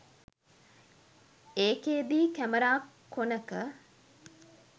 ඒකෙදී කැමරා කොනක